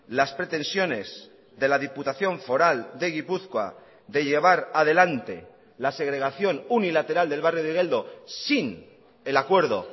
las pretensiones de la diputación foral de gipuzkoa de llevar adelante la segregación unilateral del barrio de igeldo sin el acuerdo